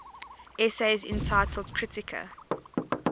essays entitled kritika